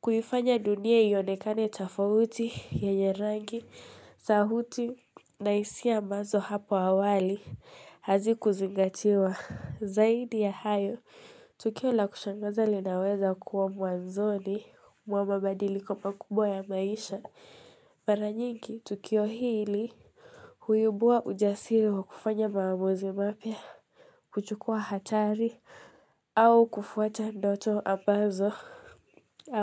kuifanya dunia ionekane tafauti ya nyerangi sauti na hisia ambazo hapo awali hazi kuzingatiwa Zaidi ya hayo, Tukio la kushangaza linaweza kuwa mwanzoni mwa mabadiliko makubwa ya maisha Paranyinki, Tukio hili huyubua ujasiri wa kufanya maamuzi mapya kuchukua hatari au kufuata ndoto ambazo.